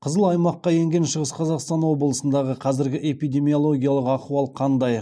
қызыл аймаққа енген шығыс қазақстан облысындағы қазіргі эпидемиологиялық ахуал қандай